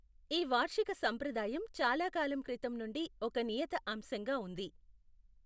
ఈ వార్షిక సంప్రదాయం చాలా కాలం క్రితం నుండి ఒక నియత అంశంగా ఉంది.